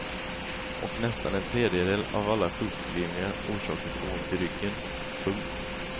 Och nästan en tredjedel av alla sjukskrivningar orsakas av ont i ryggen. punkt